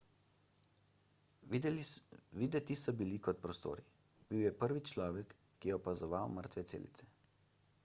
videti so bili kot prostori bil je prvi človek ki je opazoval mrtve celice